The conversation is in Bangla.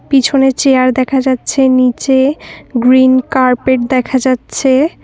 পিছনে চেয়ার দেখা যাচ্ছে নীচে গ্রিন কার্পেট দেখা যাচ্ছে।